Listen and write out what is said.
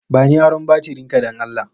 Bani aron batirin ka dan Allah